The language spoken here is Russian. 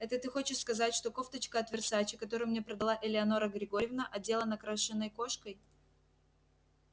это ты хочешь сказать что кофточка от версаче которую мне продала элеонора григорьевна отделана крашеной кошкой